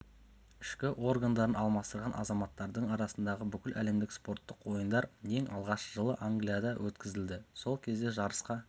ішкі органдарын алмастырған азаматтардың арасындағы бүкіләлемдік спорттық ойындар ең алғаш жылы англияда өткізілді сол кезде жарысқа